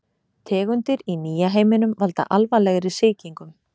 Tegundir í nýja heiminum valda alvarlegri sýkingum.